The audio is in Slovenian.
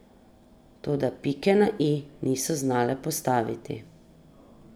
Toda pike na i niso znale postaviti.